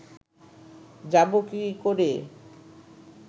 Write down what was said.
যাবো কী করে